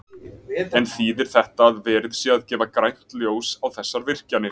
En þýðir þetta að verið sé að gefa grænt ljós á þessar virkjanir?